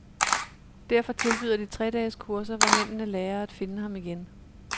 Derfor tilbyder de tre-dages kurser, hvor mændene lærer at finde ham igen.